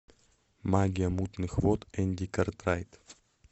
магия мутных вод энди картрайт